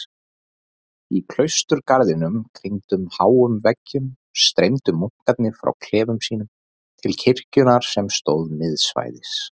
Í klausturgarðinum, kringdum háum veggjum, streymdu munkarnir frá klefum sínum til kirkjunnar sem stóð miðsvæðis.